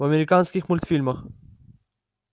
в американских мульфильмах